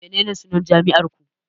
Menene sunan jami'ar ku